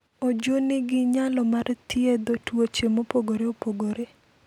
Oju nigi nyalo mar thiedho tuoche mopogore opogore.